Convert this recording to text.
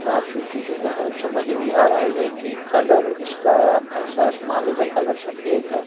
साफ सुथरी जगह है समझ नहीं आ रहा है ये कि कलर इसका ऐसा माले का कलर सफेद है।